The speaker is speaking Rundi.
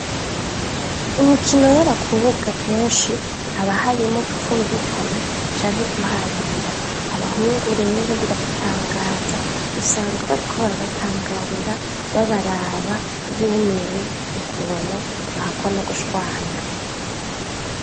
Imikino yabakobwa keshi haba harimwo kutumvikana, canke guharira, abahungu rero birabatangaza, usanga bariko barabatangarira, babaraba, bumiwe ukuntu, bahakwa nugushwana.